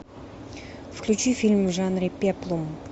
включи фильм в жанре пеплум